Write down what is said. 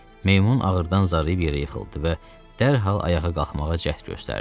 Meymun ağırdan zarıyıb yerə yıxıldı və dərhal ayağa qalxmağa cəhd göstərdi.